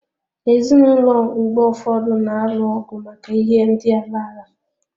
Ezinụlọ mgbe ụfọdụ na-alụ ọgụ maka ihe ndị ala ala.